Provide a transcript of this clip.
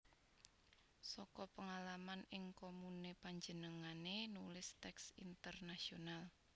Saka pengalaman ing komune panjenengane nulis teks Intenasional